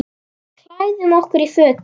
Við klæðum okkur í fötin.